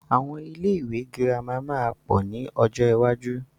Àwọn ilé ìwé girama máa pọ̀ ni ọjọ́ iwájú.